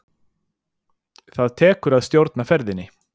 Það tekur að stjórna ferðinni.